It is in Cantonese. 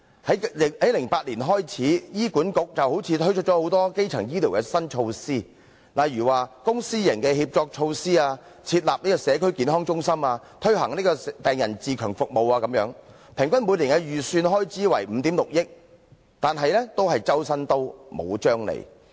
自2008年開始，醫院管理局好像推出了很多基層醫療的新措施，例如公私營協作措施、設立社區健康中心、推行病人自強服務等，平均每年的預算開支為5億 6,000 萬元，但總是"周身刀，無張利"。